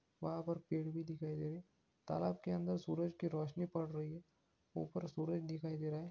वहाँ पर पेड़ भी दिखाई देगा तालाब के अंदर सूरज की रोशनी पड़ रही है यहाँ यहाँ पर सूरज दिखाई दे रहा है